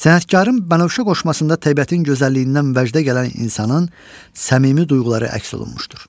Sənətkarın Bənövşə qoşmasında təbiətin gözəlliyindən vəcdə gələn insanın səmimi duyğuları əks olunmuşdur.